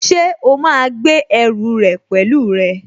Ṣé o máa gbé ẹrù rẹ pẹ̀lú rẹ?